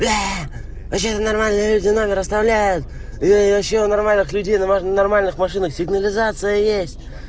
вообще-то нормальные люди номер оставляют и вообще у нормальных людей на на нормальных машинах сигнализация есть